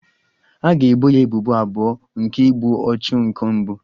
A ga-ebo ya ebubo abụọ nke igbu ọchụ nke mbụ